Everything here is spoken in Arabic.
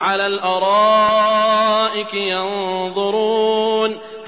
عَلَى الْأَرَائِكِ يَنظُرُونَ